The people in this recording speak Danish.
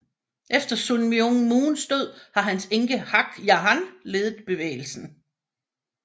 Efter Sun Myung Moons død har hans enke Hak Ja Han ledet bevægelsen